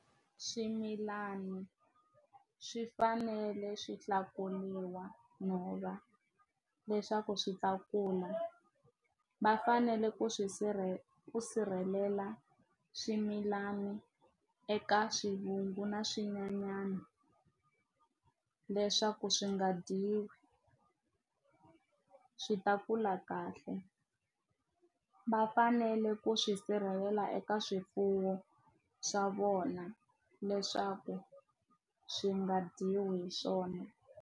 Swimilana swi fanele swi hlakuriwa nhova leswaku swi ta kula va fanele ku swi sirhelela swimilani eka swivungu na swin'wanyana leswaku swi nga dyiwi swi ta kula kahle va fanele ku swi sirhelela eka swifuwo swa vona leswaku swi nga dyiwi hi swona.